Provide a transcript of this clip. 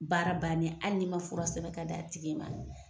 Baara banni hali n'i ma fura sɛbɛn ka d'a tigi ma.